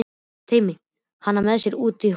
Teymdi hana með sér út á horn.